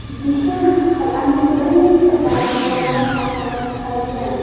Dishan qal’aning bir nechta darvozalari saqlanib qolgan.